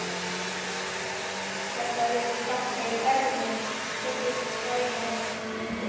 Þetta virðist ganga í erfðir, tekur Sæunn undir.